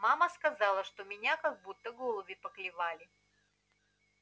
мама сказала что меня как будто голуби поклевали